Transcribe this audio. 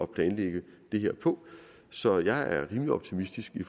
planlægge det her på så jeg er rimelig optimistisk i